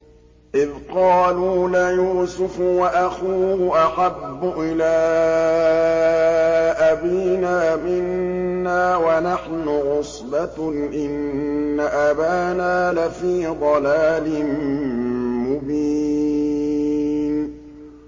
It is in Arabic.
إِذْ قَالُوا لَيُوسُفُ وَأَخُوهُ أَحَبُّ إِلَىٰ أَبِينَا مِنَّا وَنَحْنُ عُصْبَةٌ إِنَّ أَبَانَا لَفِي ضَلَالٍ مُّبِينٍ